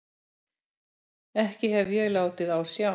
Ekki hef ég látið á sjá.